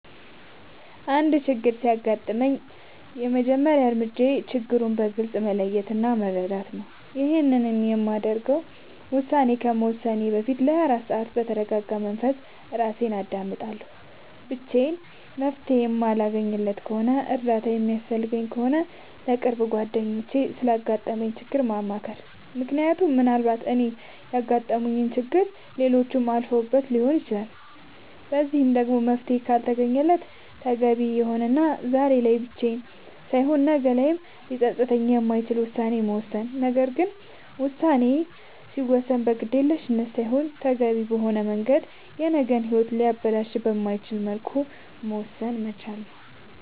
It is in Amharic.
አንድ ችግር ሲያጋጥመኝ የመጀመሪያ እርምጃዬ ችግሩን በግልፅ መለየት እና መረዳት ነዉ ይሄንንም ለማድረግ ውሳኔ ከመወሰኔ በፊት ለ24 ሰዓት በተርጋጋ መንፈስ እራሴን አዳምጣለሁ ብቻዬን መፍትሄ የማለገኝለት ከሆነና እርዳታ የሚያስፈልገኝ ከሆነ ለቅርብ ጓደኛዬ ስላጋጠመኝ ችግር ማማከር ምክንያቱም ምናልባት እኔ ያጋጠመኝን ችግር ሌሎች አልፈውበት ሊሆን ይችላል በዚህም ደግሞ መፍትሄ ካልተገኘለት ተገቢ የሆነና ዛሬ ላይ ብቻ ሳይሆን ነገ ላይም ሊፀፅት የማይችል ውሳኔን መወሰን ነገር ግን ውሳኔ ሲወሰን በግዴለሽነት ሳይሆን ተገቢውን በሆነ መንገድ የነገ ሂወትን ሊያበላሽ በማይችልበት መልኩ መወሰን መቻል ነዉ